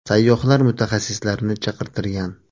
Sayyohlar mutaxassislarni chaqirtirgan.